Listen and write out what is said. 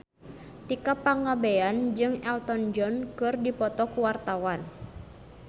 Tika Pangabean jeung Elton John keur dipoto ku wartawan